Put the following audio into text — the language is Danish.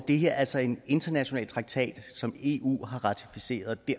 det her altså er en international traktat som eu har ratificeret